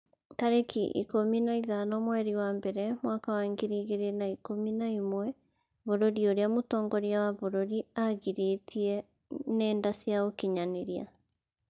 tarĩki ikũmi na ithano mweri wa mbere mwaka wa ngiri igĩrĩ na ikũmi na ĩmwe Bũrũri ũrĩa mũtongoria wa bũrũri aagirĩtie ngenda cia ũkinyanĩria